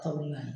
Kamuna